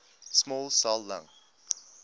small cell lung